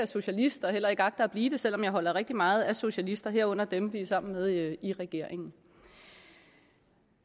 socialist og heller ikke agter at blive det selv om jeg holder rigtig meget af socialister herunder dem vi er sammen med i regeringen